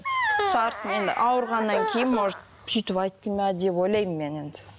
енді ауырғаннан кейін может сөйтіп айтты ма деп ойлаймын мен енді